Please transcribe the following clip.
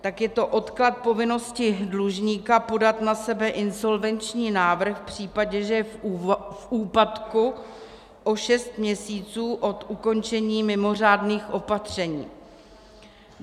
Tak je to odklad povinnosti dlužníka podat na sebe insolvenční návrh v případě, že je v úpadku, o šest měsíců od ukončení mimořádných opatření.